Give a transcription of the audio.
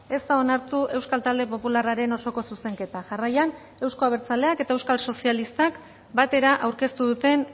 ez da onartu euskal talde popularraren osoko zuzenketa jarraian euzko abertzaleak eta euskal sozialistak batera aurkeztu duten